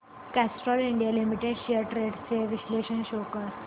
Castrol India limited shares trends चे विश्लेषण show कर